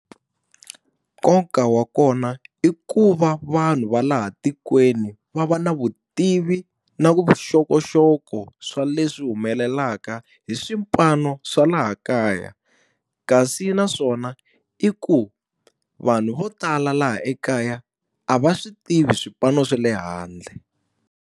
Nkoka wa kona i ku va vanhu va laha tikweni va va na vutivi na vuxokoxoko swa leswi humelelaka hi swipano swa laha kaya. Kasi naswona i ku vanhu vo tala laha ekaya, a va swi tivi swipano swa le handle.